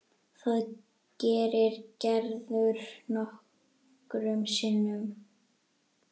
Það gerir Gerður nokkrum sinnum.